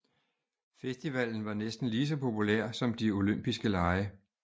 Festivalen var næsten lige så populær som de olympiske lege